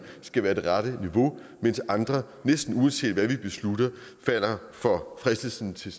skal være det rette niveau mens andre næsten uanset hvad vi beslutter falder for fristelsen til